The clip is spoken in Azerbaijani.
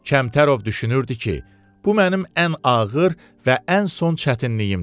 Kəmtərov düşünürdü ki, bu mənim ən ağır və ən son çətinliyimdir.